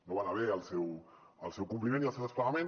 no va anar bé el seu compliment i el seu desplegament